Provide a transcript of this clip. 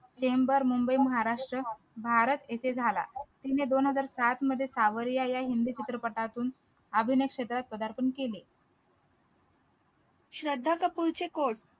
chamber Mumbai Maharashtra Bharat येथे झाला तिने दोन हजार सात मध्ये सावरिया या हिंदी चित्रपटातून अभिनय क्षेत्रात प्रधारपण केले